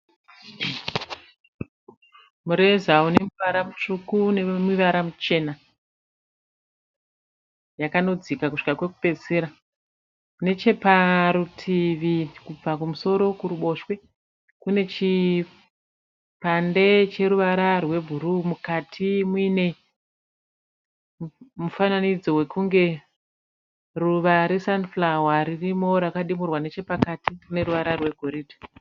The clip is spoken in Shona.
Mureza une ruvara rutsvuku neruvara ruchena yakanodzika kusvika kwekupedzesera, neche parutivi kubva kumusoro kuruboshwe kune chipande cheruvara rwebhuruu mukati muine mufananidzo wekunge ruva resunflower ririmo rakadimurwa neche pakati rine ruvara rwegoridhe.